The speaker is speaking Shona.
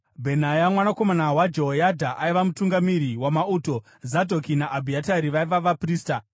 Bhenaya mwanakomana waJehoyadha aiva mutungamiri wamauto; Zadhoki naAbhiatari vaiva vaprista;